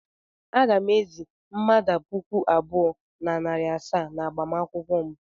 Aga m ezì mmadụ puku abụọ na narị asaa n'agbamakwụkwọ m.